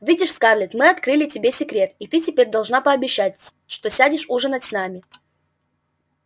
видишь скарлетт мы открыли тебе секрет и ты теперь должна пообещать что сядешь ужинать с нами